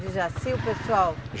De Jaci, o pessoal?